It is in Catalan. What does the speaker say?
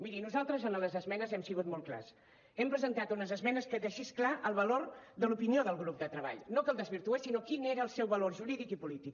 miri nosaltres a les esmenes hem sigut molt clars hem presentat unes esmenes que deixessin clar el valor de l’opinió del grup de treball no que el desvirtués sinó quin era el seu valor jurídic i polític